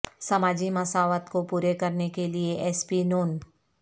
سماجی مساوات کو پورے کرنے کے لئے ایس پی ن